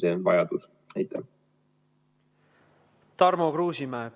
Tarmo Kruusimäe, palun!